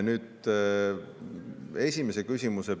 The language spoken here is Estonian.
Nüüd, esimene küsimus.